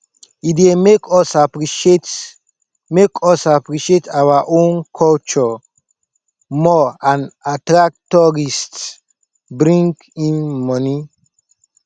e dey make us appreciate make us appreciate our own culture more and attract tourists bring in monie